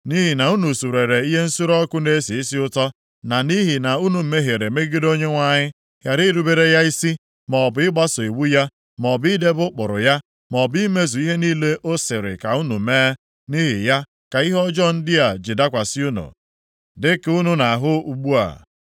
Nʼihi na unu surere ihe nsure ọkụ na-esi isi ụtọ na nʼihi na unu mehiere megide Onyenwe anyị, ghara irubere ya isi, maọbụ ịgbaso iwu ya, maọbụ idebe ụkpụrụ ya, maọbụ imezu ihe niile ọ sịrị ka unu mee, nʼihi ya ka ihe ọjọọ ndị a ji dakwasị unu dịka unu na-ahụ ugbu a.”